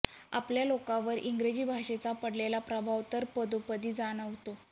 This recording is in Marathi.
आपल्या लोकांवर इंग्रजी भाषेचा पडलेला प्रभाव तर पदोपदी जाणवतो